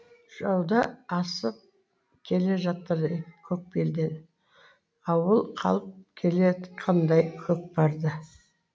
жауда асып келе жатыр көк белден ауыл қалып келеатқандай көкпарды